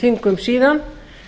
þingum síðan